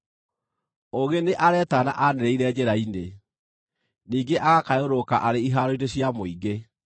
Ũũgĩ nĩ aretana anĩrĩire njĩra-inĩ, ningĩ agakayũrũrũka arĩ ihaaro-inĩ cia mũingĩ;